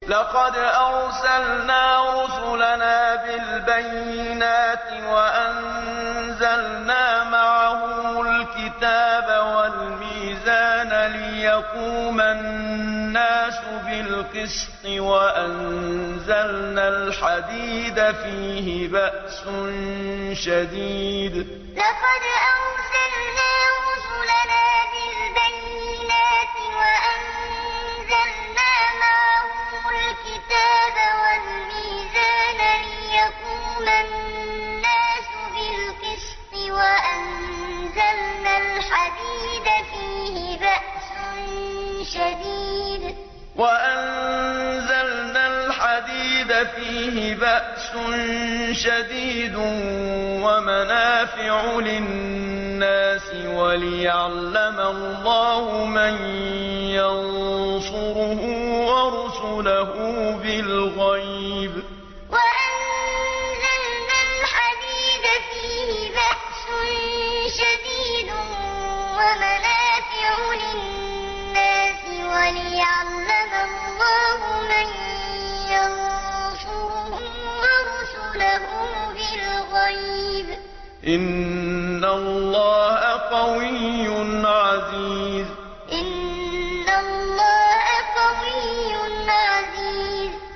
لَقَدْ أَرْسَلْنَا رُسُلَنَا بِالْبَيِّنَاتِ وَأَنزَلْنَا مَعَهُمُ الْكِتَابَ وَالْمِيزَانَ لِيَقُومَ النَّاسُ بِالْقِسْطِ ۖ وَأَنزَلْنَا الْحَدِيدَ فِيهِ بَأْسٌ شَدِيدٌ وَمَنَافِعُ لِلنَّاسِ وَلِيَعْلَمَ اللَّهُ مَن يَنصُرُهُ وَرُسُلَهُ بِالْغَيْبِ ۚ إِنَّ اللَّهَ قَوِيٌّ عَزِيزٌ لَقَدْ أَرْسَلْنَا رُسُلَنَا بِالْبَيِّنَاتِ وَأَنزَلْنَا مَعَهُمُ الْكِتَابَ وَالْمِيزَانَ لِيَقُومَ النَّاسُ بِالْقِسْطِ ۖ وَأَنزَلْنَا الْحَدِيدَ فِيهِ بَأْسٌ شَدِيدٌ وَمَنَافِعُ لِلنَّاسِ وَلِيَعْلَمَ اللَّهُ مَن يَنصُرُهُ وَرُسُلَهُ بِالْغَيْبِ ۚ إِنَّ اللَّهَ قَوِيٌّ عَزِيزٌ